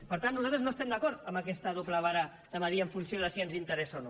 per tant nosaltres no estem d’acord amb aquesta doble vara de mesurar en funció de si ens interessa o no